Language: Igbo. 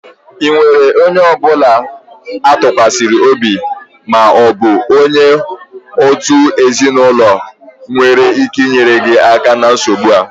Ị nwere enyi ọ bụla a tụkwasịrị obi ma ọ bụ onye òtù ezinụlọ nwere ike inyere gị aka na nsogbu a?